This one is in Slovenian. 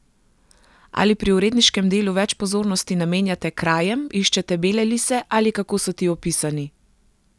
Ali pri uredniškem delu več pozornosti namenjate krajem, iščete bele lise, ali kako so ti opisani?